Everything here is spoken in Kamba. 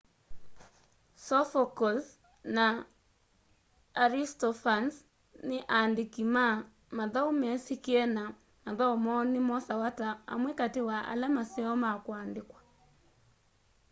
sophocles na aristophanes ni aandiki ma mathau mesikie na mathau moo ni mosawa ta amwe kati wa ala maseo ma kuandikwa